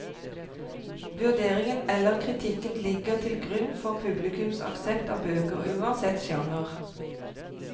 Vurderingen eller kritikken ligger til grunn for publikums aksept av bøker, uansett sjanger.